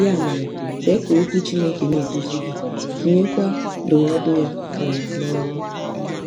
Ya mere, kwe ka Okwu Chineke na-eduzi gị, tinyekwa ndụmọdụ ya um n’ọrụ.